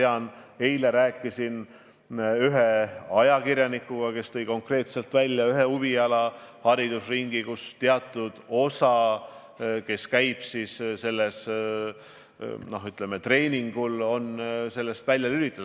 Ma eile rääkisin ühe ajakirjanikuga, kes tõi konkreetselt välja ühe spordiringi, millest osa treeningul käivaid lapsi on välja lülitatud.